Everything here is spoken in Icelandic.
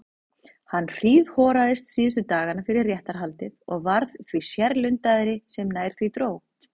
Hann hríðhoraðist síðustu dagana fyrir réttarhaldið og varð því sérlundaðri sem nær því dró.